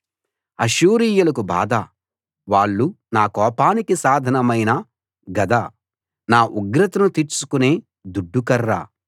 అష్షూరీయులకు బాధ వాళ్ళు నా కోపానికి సాధనమైన గద నా ఉగ్రతను తీర్చుకునే దుడ్డు కర్ర